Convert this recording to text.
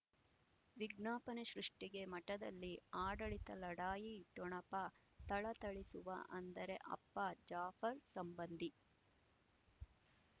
ವಿಜ್ಞಾಪನೆ ಸೃಷ್ಟಿಗೆ ಮಠದಲ್ಲಿ ಆಡಳಿತ ಲಢಾಯಿ ಠೊಣಪ ಥಳಥಳಿಸುವ ಅಂದರೆ ಅಪ್ಪ ಜಾಫರ್ ಸಂಬಂಧಿ